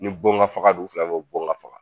Ni bon ga faga don u fila bɛ bi bon ka faga